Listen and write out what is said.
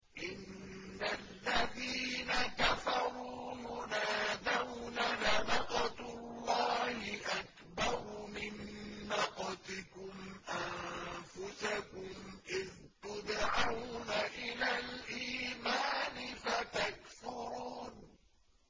إِنَّ الَّذِينَ كَفَرُوا يُنَادَوْنَ لَمَقْتُ اللَّهِ أَكْبَرُ مِن مَّقْتِكُمْ أَنفُسَكُمْ إِذْ تُدْعَوْنَ إِلَى الْإِيمَانِ فَتَكْفُرُونَ